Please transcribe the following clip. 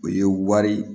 O ye wari